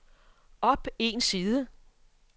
op en side